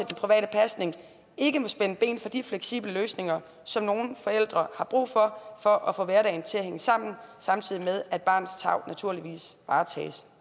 private pasning ikke må spænde ben for de fleksible løsninger som nogle forældre har brug for for at få hverdagen til at hænge sammen samtidig med at barnets tarv naturligvis varetages